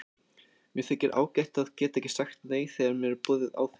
Mér þykir ágætt að geta sagt nei þegar mér er boðið áfengi.